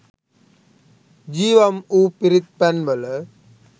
ජීවම් වූ පිරිත් පැන් වල